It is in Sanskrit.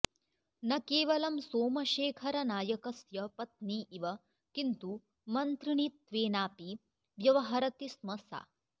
न केवलं सोमशेखरनायकस्य पत्नी इव किन्तु मन्त्रिणीत्वेनापि व्यवहरति स्म सा